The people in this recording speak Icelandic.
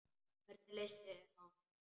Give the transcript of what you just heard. Hvernig leist þér á hann?